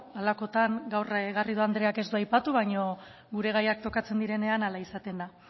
halakotan gaur garrido andreak ez du aipatu baina gure gaiak tokatzen direnean hala izaten da